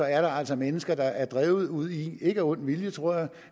er der altså mennesker der er drevet ud i ikke af ond vilje